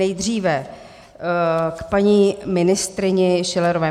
Nejdříve k paní ministryni Schillerové.